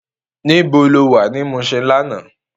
Nibó ló wá ni Mushin làná?